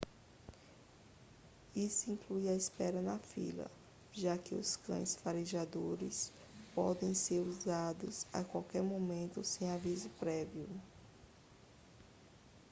isso inclui a espera na fila já que cães farejadores podem ser usados a qualquer momento sem aviso prévio